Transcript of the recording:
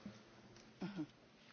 Sehr geehrte Kollegin!